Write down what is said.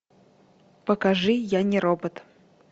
покажи я не робот